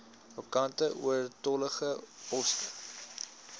vakante oortollige poste